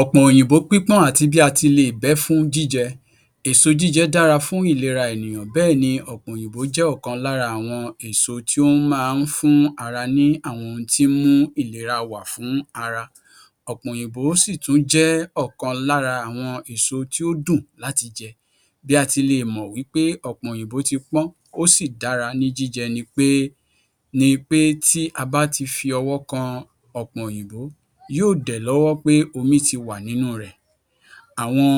Ọ̀pọ̀n òyìnbó pípọ́n àti bí a ti leè bẹ́ fún jíjẹ Èso jíjẹ dára fún ìlera ènìyàn bẹ́ẹ̀ ni ọ̀pọ̀n òyìnbó jẹ́ ọ̀kan lára àwọn èso tí ó máa ń fún ara ní àwọn ohun tí ń mú ìlera wà fún ara. Ọ̀pọ̀n òyìnbó sì tún jẹ́ ọ̀kan lára àwọn èso tí ó dùn láti jẹ. Bí a ti lè mọ̀ wípé ọ̀pọ̀n òyìnbó ti pọ́n ó sì dára ní jíjẹ nipé ni í pé tí a bá ti fi ọwọ́ kan ọ̀pọ̀n òyìnbó, yóò dẹ̀ lọ́wọ́ pé omi ti wà nínú rẹ̀ àwọn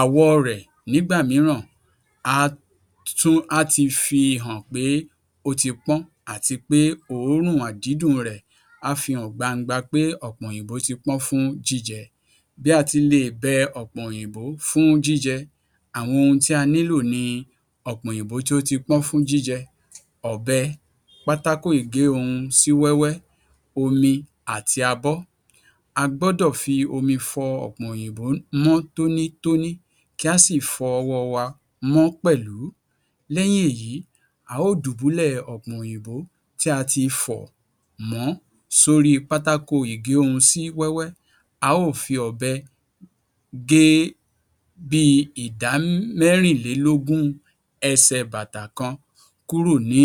àwọ̀ rẹ̀ nígbà mìíràn á tún á ti fi hàn pé ó ti pọ́n àtípé òórùn àdídùn rẹ̀ á fi hàn gbangba pé ọ̀pọ̀n òyìnbó ti pọ́n fún jíjẹ. Bí a ti leè bẹ ọ̀pọ̀n òyìnbó fún jíjẹ. Àwọn ohun tí a nílò ni ọ̀pọ̀n òyìnbó tí ó ti pọ́n fún jíjẹ, ọ̀bẹ, pátákó-ìgé-ohun-sí-wẹ́wẹ́, omi àti abọ́. A gbọ́dọ̀ fi omi fọ ọ̀pọ̀n òyìnbó mọ́ tónítóní kí a sì fọ ọwọ́ wa mọ́ pèlú. Lẹ́yìn èyí, a ó dùbúlẹ̀ ọ̀pọ̀n òyìnbó tí a ti fọ̀ mọ̀ọ́ sí orí pátákó-ìgé-ohun-sí-wẹ́wẹ́, a ó fi ọ̀bẹ gé bíi ìdá mérìnlèlógún ẹsẹ̀ bàtà kan kúrò ni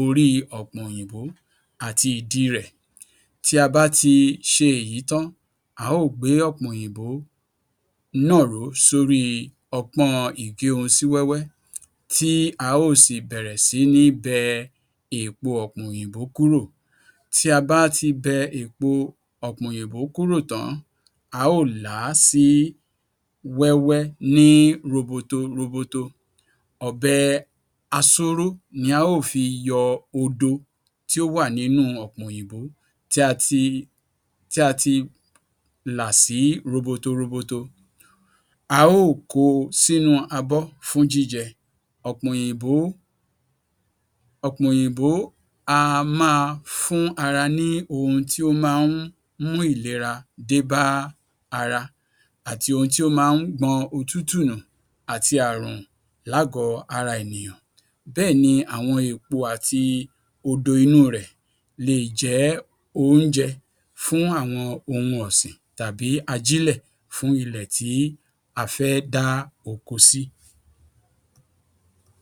orí ọ̀pọ̀n òyìnbó àti ìdí rẹ̀. Tí a bá ti ṣe èyí tán, a ó gbé ọ̀pọ̀n òyìnbó náà sórí ọpọ́n-ọn ìgé-ohun-sí-wẹ́wẹ́, tí a ó sì bẹ̀rẹ̀ si ní bẹ èpo ọ̀pọ̀n òyìnbó kúrò. Tí a bá ti bẹ èpo ọ̀pọ̀n òyìnbó kúrò tàn-án, a ó làá sí wẹ́wẹ́ ní roboto roboto. Ọ̀bẹ asóró ni a ó fi yọ odo tí ó wà ni nínú ọ̀pọ̀n òyìnbó tí a ti tí a ti là sí roboto roboto. A ó ko sínú abọ́ fún jíjẹ. Ọ̀pọ̀n òyìnbó ọ̀pọ̀n òyìnbó á máa fún ara ní ohun tí ó máa ń mú ìlera dé bá ara àti ohun tí ó máa ń gbọn òtútù nù àti àrùn láàgọ ara ènìyàn. Bẹ́ẹ̀ni àwọn èpo àti odo inú rẹ̀ leè jẹ́ oúnje fún àwọn ohun ọ̀sìn tàbí ajílẹ̀ fún ilẹ̀ tí a fẹ́ dá oko sí.